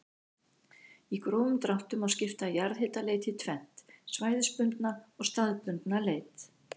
Í grófum dráttum má skipta jarðhitaleit í tvennt, svæðisbundna og staðbundna leit.